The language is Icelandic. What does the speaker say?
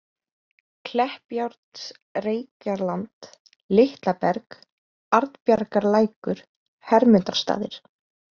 Kleppjárnsreykjarland, Litla Berg, Arnbjargarlækur, Hermundarstaðir